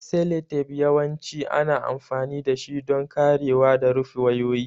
Seletep yawanci ana amfani dashi don karewa da rufe wayoyi.